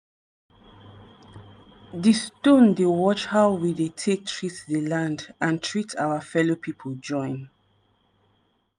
di stone dey watch how we take dey treat di land and treat our fellow pipo join.